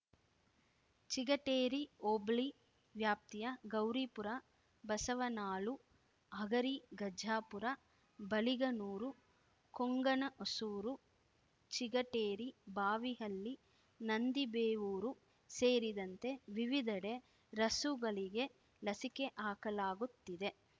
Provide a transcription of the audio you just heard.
ಚಿಗಟೇರಿ ಹೋಬಳಿ ವ್ಯಾಪ್ತಿಯ ಗೌರಿಪುರ ಬಸವನಾಳು ಹಗರಿ ಗಜಾಪುರ ಬಳಿಗನೂರು ಕೊಂಗನಹೊಸೂರು ಚಿಗಟೇರಿ ಬಾವಿಹಳ್ಳಿ ನಂದಿಬೇವೂರು ಸೇರಿದಂತೆ ವಿವಿಧೆಡೆ ರಸುಗಳಿಗೆ ಲಸಿಕೆ ಹಾಕಲಾಗುತ್ತಿದೆ